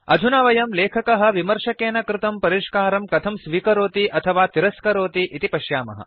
अधुना वयं लेखकः विमर्शकेन कृतं परिष्कारं कथं स्विकरोति अथवा तिरस्करोति इति पश्यामः